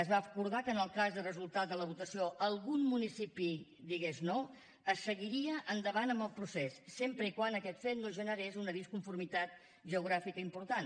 es va acordar que en el cas de resultat de la votació algun municipi digués no es seguiria endavant amb el procés sempre que aquest fet no generés una disconformitat geogràfica important